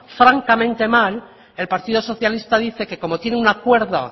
francamente mal el partido socialista dice que como tiene un acuerdo